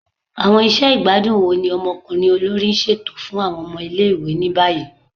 Awọn iṣẹ igbadun wo ni ọmọkunrin olori n ṣeto fun awọn ọmọ ile-iwe ni bayi?